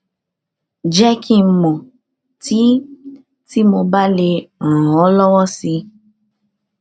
jẹ kí n mọ tí tí mo bá lè ràn ọ lọwọ si